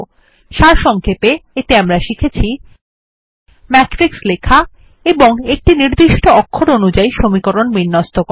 সারসংক্ষেপে এতে আমরা শিখেছি ম্যাট্রিক্স লেখা এবং একটি নির্দিষ্ট অক্ষর অনুযাই সমীকরণ বিন্যস্ত করা